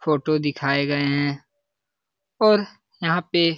photo दिखाए गए हैं और यहाँ पे --